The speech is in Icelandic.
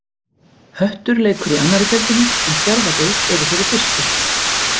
Höttur leikur í annarri deildinni en Fjarðabyggð er í þeirri fyrstu.